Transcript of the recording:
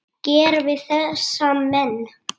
gera við þessa menn?